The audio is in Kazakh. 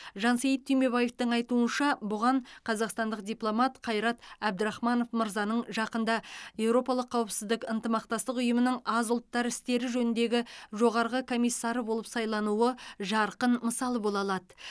жансейіт түймебаевтың айтуынша бұған қазақстандық дипломат қайрат әбдірахманов мырзаның жақында еуропалық қауіпсіздік ынтымақтастық ұйымының аз ұлттар істері жөніндегі жоғарғы комиссары болып сайлануы жарқын мысал бола алады